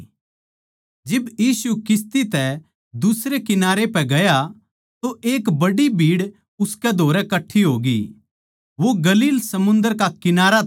जिब यीशु दुसरे किनारे पै गया तो एक बड्डी भीड़ उसकै धोरै कट्ठी होगी वो गलील समुन्दर का कंठारा था